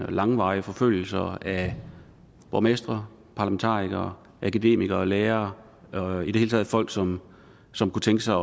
og langvarige forfølgelser af borgmestre parlamentarikere akademikere og lærere og i det hele taget folk som som kunne tænke sig